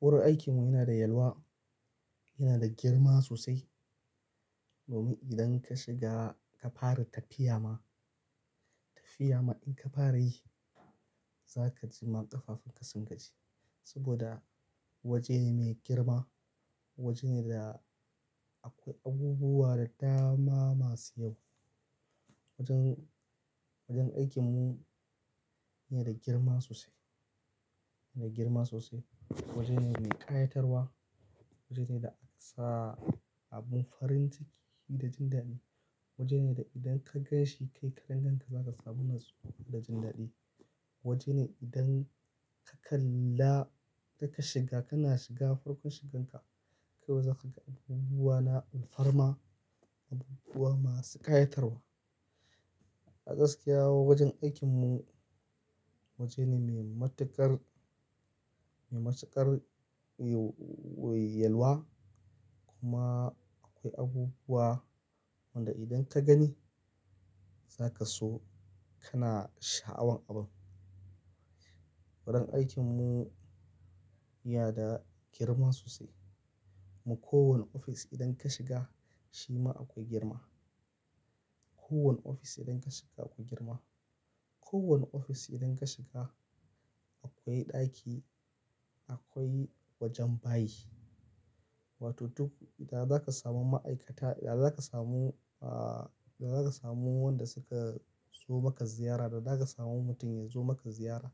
Wurin aikinmu yana da yalwa, yana da girma sosai. Domin idan ka shiga ka fara tafiya ma, tafiya ma in ka fara yi za ka ji ma ƙafafun ka sun gaji. Saboda waje ne mai girma, waje ne da akwai abubuwa da dama masu yawa wajen, wajen aikinmu yana da girma sosai, yana girma sosai. Waje ne mai ƙayatarwa, waje ne da akasa abun farin ciki da jin daɗi. Waje ne da idan ka gan shi kai karan-kanka za ka samu natsuwa da jin daɗi. Waje ne idan ka kalla da ka shiga, kana shiga farkon shigan ka kawai za ka ga abubuwa na alfarma, abubuwa masu ƙayatarwa. A gaskiya wajen aikinmu waje ne mai matuƙar, mai matuƙar yi, yalwa kuma akwai abubuwa wanda idan ka gani za ka so kana sha'awan abun. Wajen aikinmu yana da girma sosai. Mu kowane ofis idan ka shiga shi ma akwai girma. Ko wani ofis idan ka shiga akwai girma. Ko wani ofis idan ka shiga akwai ɗaki, akwai wajen bayi. Wato duk da za ka samu ma'aikata, da za ka samu, ah, da za ka samu wanda suka zo maka ziyara, da za ka samu mutum ya zo maka ziyara.